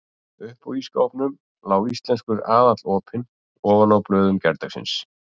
Uppi á ísskápnum lá Íslenskur aðall opinn ofan á blöðum gærdagsins.